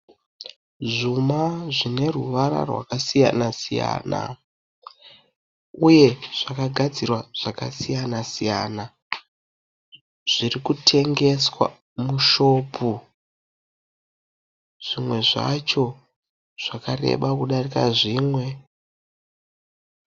Zvuma zvine ruvara zvakasiyana -siyana uye zvakagadzirwa zvakasiyanana -siyana zviri kutengeswa mushopu. Zvimwe zvacho zvakareba kudarika zvimwe.